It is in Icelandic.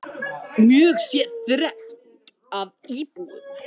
Mjög sé þrengt að íbúunum.